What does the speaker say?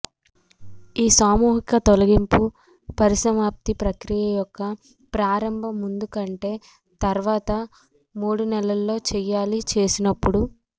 ఈ సామూహిక తొలగింపు పరిసమాప్తి ప్రక్రియ యొక్క ప్రారంభ ముందు కంటే తర్వాత మూడు నెలల్లో చేయాలి చేసినప్పుడు